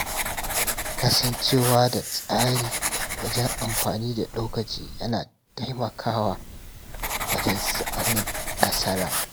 Kasancewa da tsari wajen amfani da lokaci yana taimakawa wajen samun nasara.